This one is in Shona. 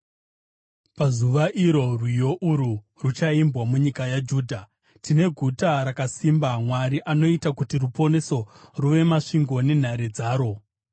Pazuva iro rwiyo urwu ruchaimbwa munyika yaJudha: Tine guta rakasimba; Mwari anoita kuti ruponeso ruve masvingo nenhare dzaro.